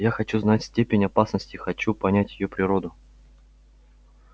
я хочу знать степень опасности хочу понять её природу